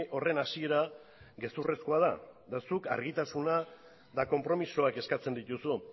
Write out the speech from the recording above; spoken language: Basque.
horren hasiera gezurrezkoa da eta zuk argitasuna eta konpromisoak eskatzen dituzu